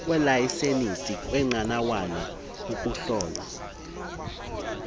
kweelayisenisi kweenqanawa ukuhlolwa